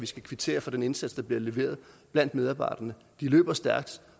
skal kvittere for den indsats der bliver leveret af medarbejderne de løber stærkt